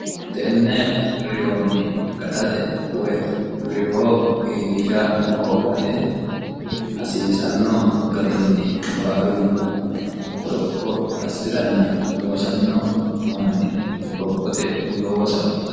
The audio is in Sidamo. tenne reyoonni gatate woy riyoo iilisha hoogate hasiisanno garinni baalunku qoropho assiranna loosanno monni qorophote looss hasiisano.